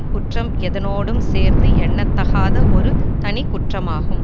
குற்றம் எதனோடும் சேர்ந்து எண்ணத்தகாத ஒரு தனி குற்றமாகும்